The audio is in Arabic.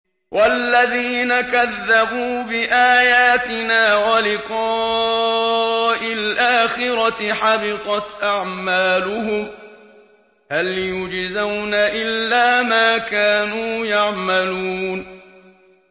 وَالَّذِينَ كَذَّبُوا بِآيَاتِنَا وَلِقَاءِ الْآخِرَةِ حَبِطَتْ أَعْمَالُهُمْ ۚ هَلْ يُجْزَوْنَ إِلَّا مَا كَانُوا يَعْمَلُونَ